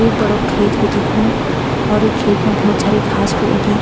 एक बड़ु खेत भी दिखणु और ये खेत मा भोत सारी घास भी उगीं।